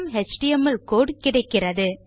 HTML code கிடைக்கிறது